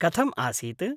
कथम् आसीत्?